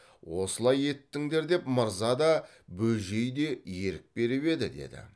осылай еттіңдер деп мырза да бөжей де ерік беріп еді деді